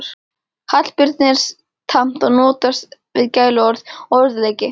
Hallbirni er tamt að notast við gæluorð og orðaleiki